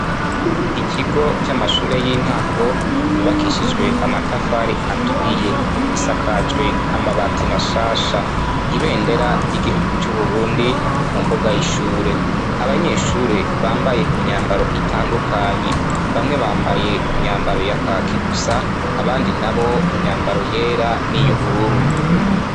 Ikigo c'amashure y'intango yubakishijwe amatafari aturiye gisakajwe amabataimashasha ibendera ry'igihugu c'uburundi mu mbuga y'ishure abanyeshure bambaye imyambaro itandukanye bamwe bambaye imyambaro ya kaki gusa abandi na bo myambaro yera n'iyo ubururu.